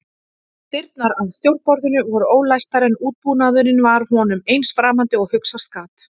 Dyrnar að stjórnborðinu voru ólæstar en útbúnaðurinn var honum eins framandi og hugsast gat.